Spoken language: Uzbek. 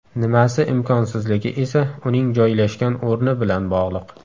Nimasi imkonsizligi esa uning joylashgan o‘rni bilan bog‘liq.